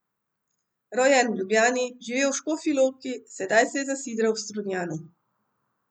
Rojen v Ljubljani, živel v Škofji Loki, sedaj se je zasidral v Strunjanu.